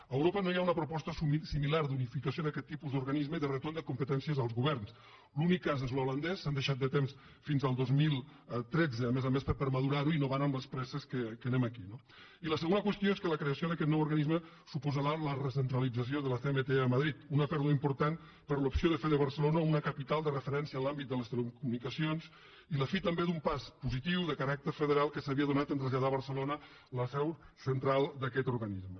a europa no hi ha una proposta similar d’unificació d’aquest tipus d’organisme de retorn de competències als governs l’únic cas és l’holandès que s’han deixat de temps fins al dos mil tretze a més a més per madurar ho i no van amb les presses amb què anem aquí no i la segona qüestió és que la creació d’aquest nou organisme suposarà la recentralització de la cmt a madrid una pèrdua important per a l’opció de fer de barcelona una capital de referència en l’àmbit de les telecomunicacions i la fi també d’un pas positiu de caràcter federal que s’havia donat en traslladar a barcelona la seu central d’aquest organisme